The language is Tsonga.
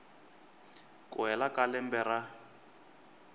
ku hela ka lembe ra